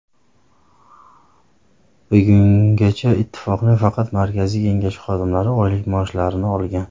Bugungacha Ittifoqning faqat Markaziy kengashi xodimlari oylik maoshlarini olgan.